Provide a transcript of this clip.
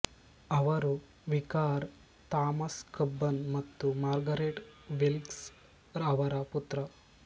ಅವರು vicar Thomas Cubbon ಮತ್ತು Margaret Wilks ಅವರ ಪುತ್ರ